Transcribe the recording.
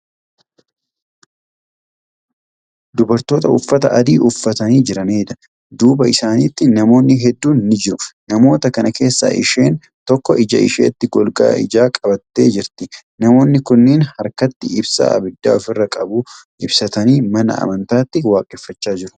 Dubartoota uffata adii uffatanii jiranidha. duuba isaaniitti namoonni hedduun ni jiru. namoota kana keessaa isheen tokko ija isheetti golgaa ijaa godhattee jirti. namoonni kunniin harkatti ibsaa abidda ofirraa qabu ibsatanii mana amantaatti waaqeffachaa jiru.